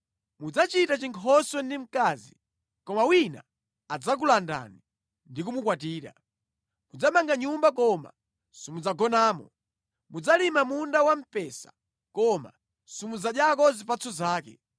Mudzachita chinkhoswe ndi mkazi, koma wina adzakulandani ndi kumukwatira. Mudzamanga nyumba koma simudzagonamo. Mudzalima munda wamphesa koma simudzadyako zipatso zake.